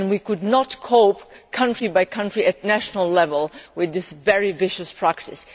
We could not cope, country by country, at national level, with this very vicious practice.